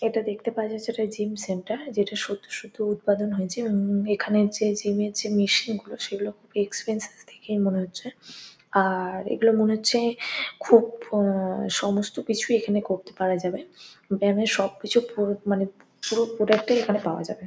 এটা দেখতে পাওয়া যাচ্ছে একটা জিম সেন্টার যেটা সদ্য সদ্য উৎপাদন হয়েছে। উম এখানের যে জিম -এর যে মেশিন -গুলো সেগুলো খুব এক্সপেনসিস দেখেই মনে হচ্ছে। আর এগুলো মনে হচ্ছে খুব আ সমস্ত কিছুই এখানে করতে পারা যাবে। ব্যাম-এর সব কিছু পুরো মানে পুরো প্রোডাক্ট -টাই এখানে পাওয়া যাবে।